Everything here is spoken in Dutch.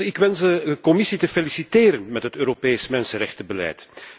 Ik wens de Commissie te feliciteren met het Europees mensenrechtenbeleid.